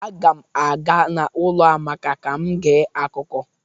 Agam aga n'ulo Amaka ka m gee akuko